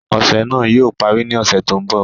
Ọṣẹ̀ náà yóò pàrí ní ọṣẹ̀ tó nbọ̀.